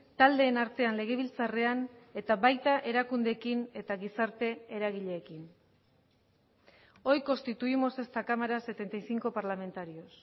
taldeen artean legebiltzarrean eta baita erakundeekin eta gizarte eragileekin hoy constituimos esta cámara setenta y cinco parlamentarios